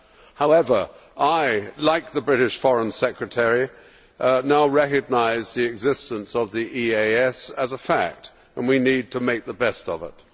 However, I like the British Foreign Secretary now recognise the existence of the EAS as a fact and we need to make the best of it.